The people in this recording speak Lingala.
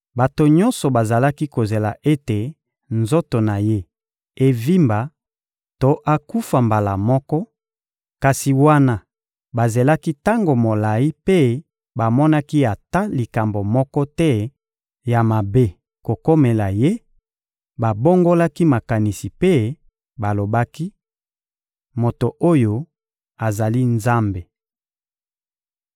Bato nyonso bazalaki kozela ete nzoto na ye evimba to akufa mbala moko; kasi wana bazelaki tango molayi mpe bamonaki ata likambo moko te ya mabe kokomela ye, babongolaki makanisi mpe balobaki: — Moto oyo azali nzambe.